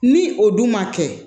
Ni o dun ma kɛ